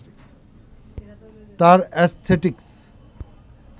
তার অ্যাসথেটিকস